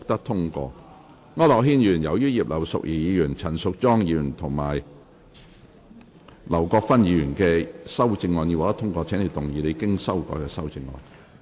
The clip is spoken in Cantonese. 區諾軒議員，由於葉劉淑儀議員、陳淑莊議員及劉國勳議員的修正案已獲得通過，請動議你經修改的修正案。